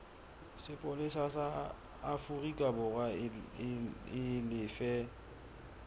sepolesa sa aforikaborwa e lefe